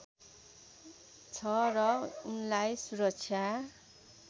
छ र उनलाई सुरक्षा